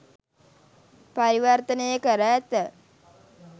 පරිවර්තනය කර ඇත.